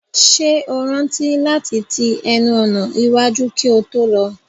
Ṣé o rántí láti ti ẹnu ọ̀nà iwájú kí o tó lọ?